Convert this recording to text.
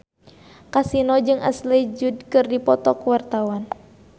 Kasino jeung Ashley Judd keur dipoto ku wartawan